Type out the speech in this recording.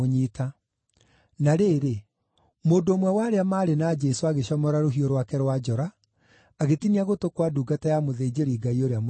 Na rĩrĩ, mũndũ ũmwe wa arĩa maarĩ na Jesũ agĩcomora rũhiũ rwake rwa njora, agĩtinia gũtũ kwa ndungata ya mũthĩnjĩri-Ngai ũrĩa mũnene.